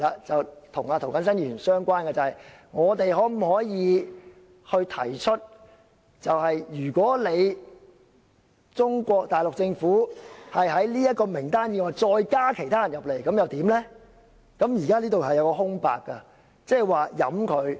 這與涂謹申議員相關，就是我們可否向中國大陸政府提出在這份名單以外加入其他人員；如可以，那應該怎樣提出？